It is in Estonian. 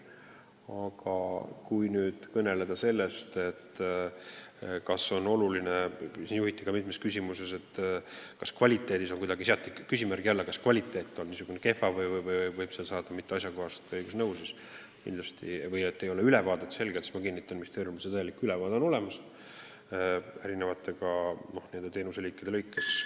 Aga kui nüüd kõneleda kvaliteedist – mitmes küsimuses seati teenuse kvaliteet küsimärgi alla, uuriti, kas kvaliteet on kehva, äkki võib saada mitteasjakohast õigusnõu – siis ma kinnitan, et ministeeriumis on täielik ülevaade eri teenuseliikide kohta olemas.